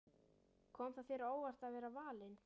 Kom það þér á óvart að vera valinn?